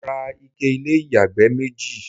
mo ra ike ilé ìyàgbẹ́ méjì